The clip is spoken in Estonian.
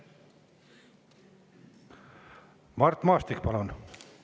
Mart Maastik, palun!